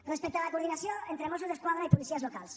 respecte a la coordinació entre mossos d’esquadra i policies locals